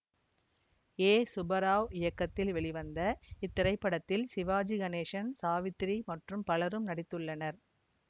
ஏ சுபராவ் இயக்கத்தில் வெளிவந்த இத்திரைப்படத்தில் சிவாஜி கணேசன் சாவித்திரி மற்றும் பலரும் நடித்துள்ளனர்